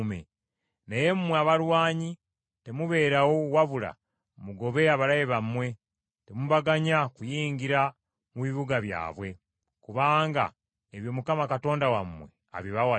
naye mmwe abalwanyi temubeerawo wabula mugobe abalabe bammwe, temubaganya kuyingira mu bibuga byabwe, kubanga ebyo Mukama Katonda wammwe abibawadde.”